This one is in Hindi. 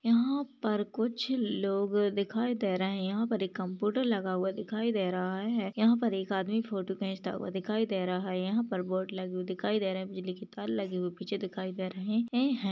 यहा पर कुछ लोग दिखाई दे रहा है यहा पर एक कम्पुटर लगा हुआ दिखाई दे रहा है यहा पर एक आदमी फोटो खेचता हुआ दिखाई दे रहा है यहा पर बोर्ड लगी हुई दिखाई दे रही है बिजली की तार लगी हुई पिच्छे दिखाई दे रही है।